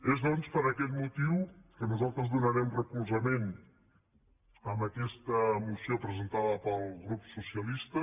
és doncs per aquest motiu que nosaltres donarem recolzament a aquesta moció presentada pel grup socialista